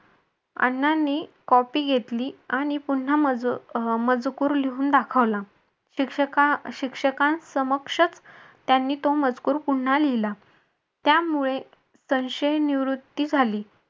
अण्णांनी copy घेतली आणि पुन्हा मजकूर लिहून दाखवला. शिक्षकानं समक्षक त्यांनी तो मजकूर पुन्हा लिहिला. त्यामुळे संशय निवृत्ती झाली.